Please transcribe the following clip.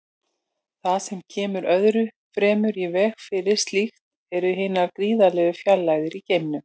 Það sem kemur öðru fremur í veg fyrir slíkt eru hinar gríðarlegu fjarlægðir í geimnum.